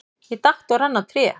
Ég datt og rann á tré.